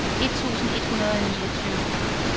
et tusind et hundrede og niogtyve